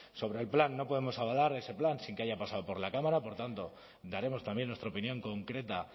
sobre el plan no podemos avalar ese plan sin que haya pasado por la cámara por tanto daremos también nuestra opinión concreta